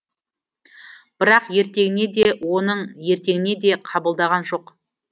бірақ ертеңіне де оның ертеңіне де қабылдаған жоқ